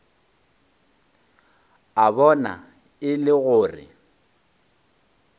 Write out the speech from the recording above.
a bona e le gore